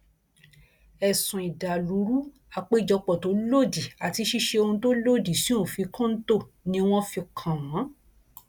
ẹsùn ìdàlúrú àpéjọpọ tó lòdì àti ṣíṣe ohun tó lòdì sí òfin kọńtò ni wọn fi kàn wọn